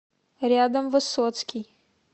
рядом высоцкий